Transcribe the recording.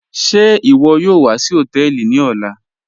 Ṣẹ́ iwo yóò wà sí hotẹẹlì ní ọlá?